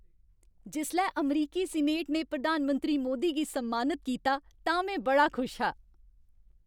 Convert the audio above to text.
जिसलै अमरीकी सीनेट ने प्रधानमंत्री मोदी गी सम्मानत कीता तां में बड़ा खुश हा।